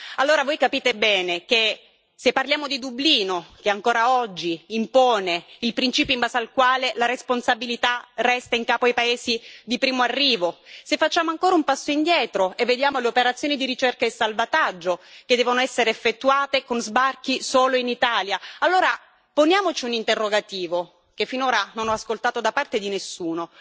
Allora voi capite bene che, se parliamo di Dublino, che ancora oggi impone il principio in base al quale la responsabilità resta in capo ai paesi di primo arrivo, se facciamo ancora un passo indietro e vediamo le operazioni di ricerca e salvataggio che devono essere effettuate con sbarchi solo in Italia, allora poniamoci un interrogativo, che finora non ho ascoltato da parte di nessuno